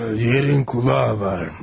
Yerin qulağı var.